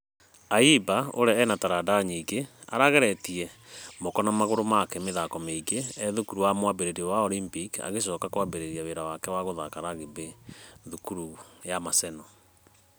Ayimba ũrĩa ena taranda nyingĩ arageretie moko na magũrũ make mĩthako meingĩ ethukuru wa mwambĩrĩrio wa Olympic agĩcoka akĩambĩrĩria wĩra wake wa gũthaka rugby thukuru ya maseno.